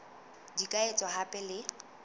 di ka etswa hape le